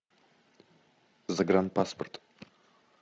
загранпаспорт